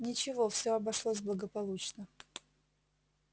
ничего всё обошлось благополучно